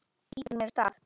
Ýtir mér af stað.